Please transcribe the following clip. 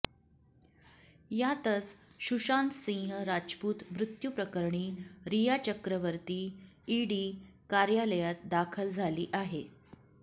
यातच सुशांत सिंह राजपूत मृत्यूप्रकरणी रिया चक्रवर्ती ईडी कार्यालयात दाखल झाली आहे